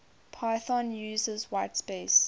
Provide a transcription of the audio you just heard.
python uses whitespace